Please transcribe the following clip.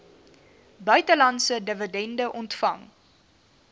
buitelandse dividende ontvang